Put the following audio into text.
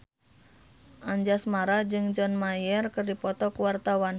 Anjasmara jeung John Mayer keur dipoto ku wartawan